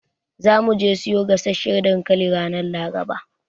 Za mu je mu siyo gasasshan dankali ranar Laraba.